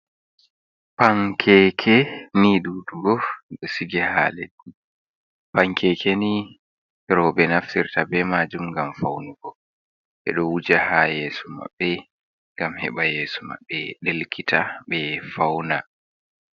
Pankeke ni ɗuɗugo ɗon sige ha leddi, pankeke ni roɓe naftirta be majum ngam fawnugo ɓeɗo wuja ha yeso mabɓe ngam heɓa yeso mabɓe delkita be fawna.